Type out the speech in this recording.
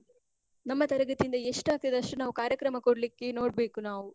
ನಮ್ಮ ತರಗತಿ ಇಂದ ಎಷ್ಟ್ ಆಗ್ತದೊ, ಅಷ್ಟ್ ಕಾರ್ಯಕ್ರಮ ಕೊಡ್ಲಿಕ್ಕೆ ನೋಡ್ಬೇಕು ನಾವು.